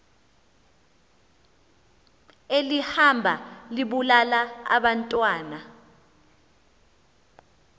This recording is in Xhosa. elihamba libulala abantwana